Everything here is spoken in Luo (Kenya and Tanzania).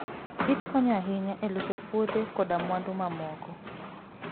kich konyo ahinya e loso puothe koda mwandu mamoko.